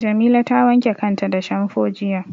Jamila ta wanke kanta da shamfo jiya.